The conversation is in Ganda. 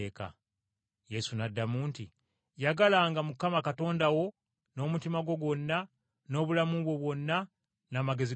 Yesu n’addamu nti, “ ‘Yagalanga Mukama Katonda wo n’omutima gwo gwonna, n’obulamu bwo bwonna, n’amagezi go gonna.’